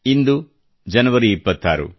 ಇಂದು ಜನವರಿ 26